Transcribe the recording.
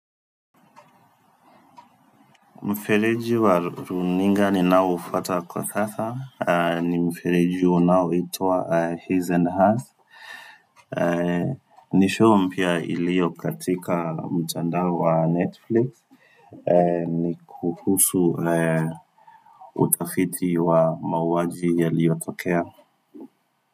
Mfeleji wa runinga ni nao ufata kwa sasa ni mfeleji wa nao ito wa his and hers ni show mpia ilio katika mtanda wa netflix ni kuhusu utafiti wa mawaji ya liyotokea.